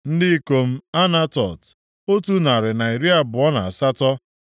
Ndị ikom Anatot, otu narị na iri abụọ na asatọ (128).